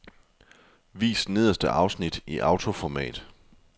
Vis nederste afsnit i autoformat.